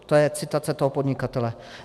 - To je citace toho podnikatele.